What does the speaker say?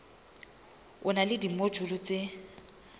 e na le dimojule tse